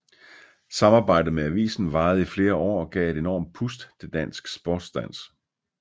Samarbejdet med avisen varede i flere år og gav et enormt pust til dansk sportsdans